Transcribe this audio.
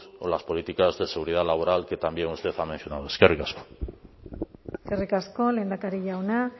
o las políticas de seguridad laboral que también usted ha mencionado eskerrik asko eskerrik asko lehendakari jauna